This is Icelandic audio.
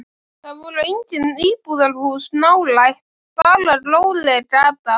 Það voru engin íbúðarhús nálægt, bara róleg gata.